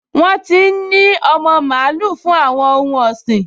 Wọ́n ti n ní ọmọ mààúlù fún àwọn ohun ọ̀sìn